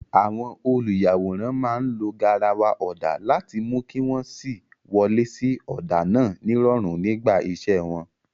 Àwọn olùyàwòrán máa ń lo garawa ọ̀dà láti mú kí wọ́n sì wọlé sí ọ̀dà náà nírọ̀rùn nígbà iṣẹ́ wọn.